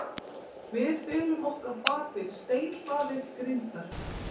Við felum okkur bak við steinhlaðið grindverk.